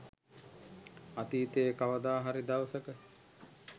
අතීතයේ කවද හරි දවසක